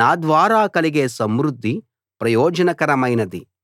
నా ద్వారా కలిగే సమృద్ధి ప్రయోజనకరమైనది